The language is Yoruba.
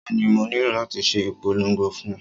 Bẹ́ẹ̀ni, mo nílò láti ṣe ìpolongo fún un